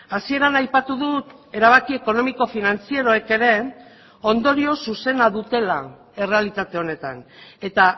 hasieran aipatu dut erabaki ekonomiko finantzieroek ere ondorio zuzena dutela errealitate honetan eta